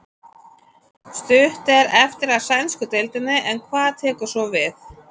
Stutt er eftir af sænsku deildinni en hvað tekur svo við?